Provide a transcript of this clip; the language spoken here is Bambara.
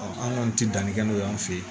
an kɔni tɛ danni kɛ n'o y'an fɛ yen